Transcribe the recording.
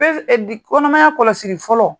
PEV kɔnɔnamaya kɔlɔsili fɔlɔ